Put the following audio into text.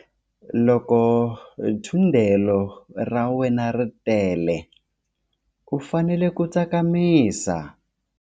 Loko thundelo ra wena ri tele u fanele ku tsakamisa.